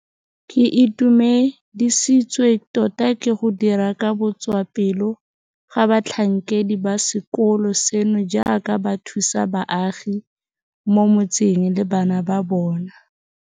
Ke itumedisitswe tota ke go dira ka botswapelo ga batlhankedi ba sekolo seno jaaka ba thusa baagi mo mo tseng le bana ba bona.